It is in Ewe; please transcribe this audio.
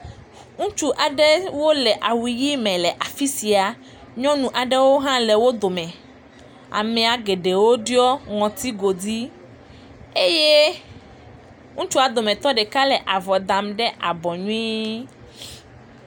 Ŋutsu aɖewo do awu ʋi me le afi sia, nyɔnu aɖewo hã le wo dome, amea geɖewo ɖiɔ ŋɔtigodi eye ŋutsua dometɔ ɖeka le avɔ dam ɖe abɔ nyuie.